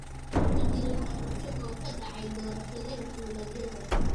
Ma jirin wax rabshado ah oo ka dhacay doorashada tuuladayada.